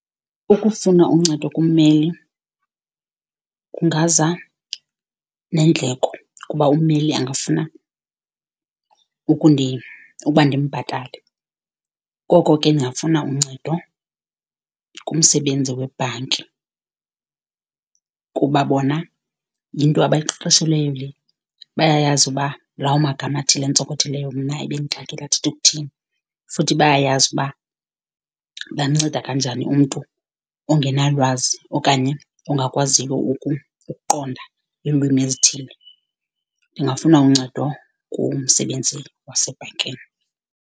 Ukufuna uncedo kummeli kungaza neendleko kuba ummeli angafuna ukuba ndimbhatale, koko ke ndingafuna uncedo kumsebenzi webhanki kuba bona yinto abayiqeqeshelweyo le. Bayayazi uba lawo magama athile antsokothileyo mna ebendixakekile athetha ukuthini, futhi bayayazi uba bamnceda kanjani umntu ongenalwazi okanye ongakwaziyo ukuqonda iilwimi ezithile. Ndingafuna uncedo kumsebenzi wasebhankini.